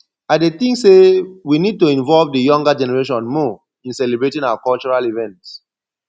i dey think say we need to involve di younger generation more in celebrating our cultural events